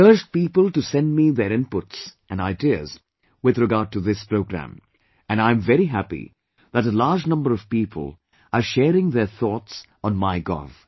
I had urged people to send me their inputs and ideas with regard to this programme; and I am very happy that a large number of people are sharing their thoughts on MyGov